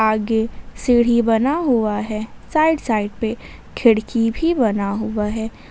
आगे सीढ़ी बना हुआ है साइड साइड पे खिड़की भी बना हुआ है।